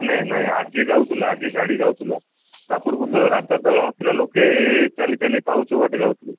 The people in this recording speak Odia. ନାଇଁ ନାଇଁ ଆଗେ ଯାଉଥିଲା ଆଗେ ଗାଡି ଯାଉଥିଲା ତା ପୂର୍ବରୁ ତ ରାସ୍ତା ତ ନଥିଲା ଲୋକେ ଚାଲି ଚାଲି ପାହୁଚ ବାଟେ ଯାଉଥିଲେ